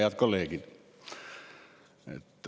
Head kolleegid!